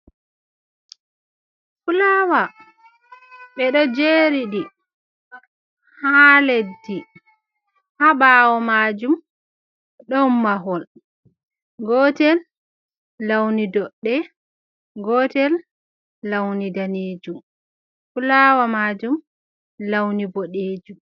Fulawa be ɗo jeriɗi, ha leɗɗi. Ha bawo majum ɗon mahol. Gotel launi ɗoɗɗe. Gotel launi nɗanejum. Fulawa majum launi boɗejum.